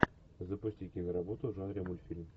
запусти киноработу в жанре мультфильм